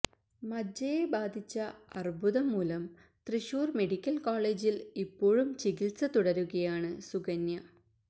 മജ്ജയെ ബാധിച്ച അര്ബുദം മൂലം തൃശൂര് മെഡിക്കല് കോളേജില് ഇപ്പോഴും ചികിത്സ തുടരുകയാണ് സുകന്യ